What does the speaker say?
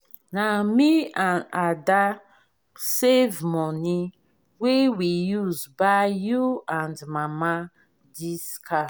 na me and ada save money wey we use buy you and mama dis car